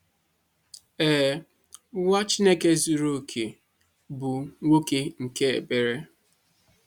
Ee, Nwa Chineke zuru oke bụ nwoke nke ekpere.